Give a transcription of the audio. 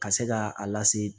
Ka se ka a lase